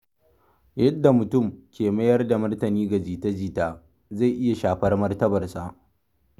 Yadda mutum ke mayar da martani ga jita-jita zai iya shafar martabarsa.